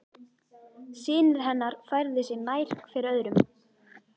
Synir hennar færðu sig nær hver öðrum.